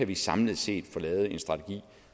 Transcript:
vi samlet set kan få lavet en strategi